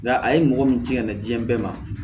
Nga a ye mɔgɔ min jigin ka na diɲɛ bɛɛ ma